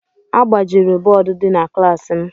A gbajiri bọọdụ dị na klaasị m.